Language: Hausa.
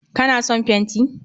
Ka na son fenti?